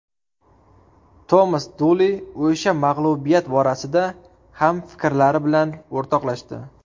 Tomas Duli o‘sha mag‘lubiyat borasida ham fikrlari bilan o‘rtoqlashdi.